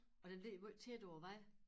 Og den ligger måj tæt på æ vej